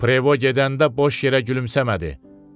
Prevo gedəndə boş yerə gülümsəmədi.